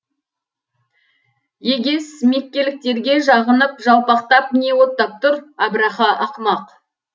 егес меккеліктерге жағынып жалпақтап не оттап тұр әбраха ақымақ